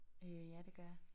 Øh ja det gør jeg